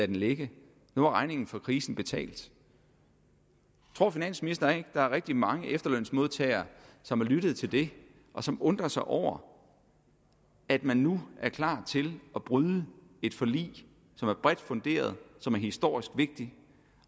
den ligge nu var regningen for krisen betalt tror finansministeren ikke at der er rigtig mange efterlønsmodtagere som har lyttet til det og som undrer sig over at man nu er klar til at bryde et forlig som er bredt funderet som er historisk vigtigt